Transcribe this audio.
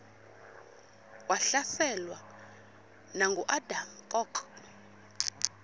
wahlaselwa nanguadam kok